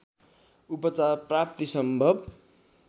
उपचार प्राप्ति सम्भव